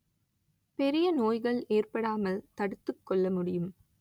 பெரிய நோய்கள் ஏற்படாமல் தடுத்துக் கொள்ள முடியும்